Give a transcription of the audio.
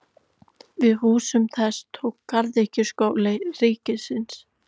Við húsum þess tók Garðyrkjuskóli ríkisins.